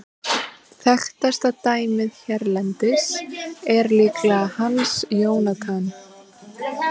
Þekktasta dæmið hérlendis er líklega Hans Jónatan.